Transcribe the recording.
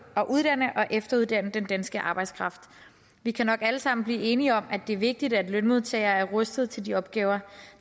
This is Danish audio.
at uddanne og efteruddanne den danske arbejdskraft vi kan nok alle sammen blive enige om at det er vigtigt at lønmodtagere er rustet til de opgaver